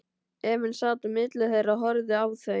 Emil sat á milli þeirra og horfði á þau.